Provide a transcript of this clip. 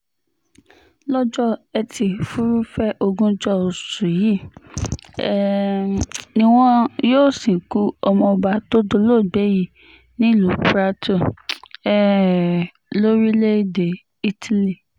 lọ́jọ́ etí furuufee ogunjọ oṣù yìí um ni wọn yóò sìnkú ọmọọba tó dolóògbé yìí nílùú prato um lórílẹ̀‐èdè italy